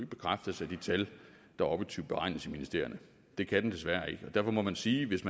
bekræftes af de tal der objektivt beregnes i ministerierne det kan de desværre ikke og derfor må man sige at hvis